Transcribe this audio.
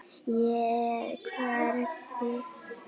Ég er hvergi.